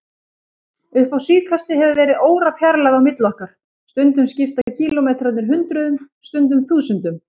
Upp á síðkastið hefur verið órafjarlægð á milli okkar, stundum skipta kílómetrarnir hundruðum, stundum þúsundum.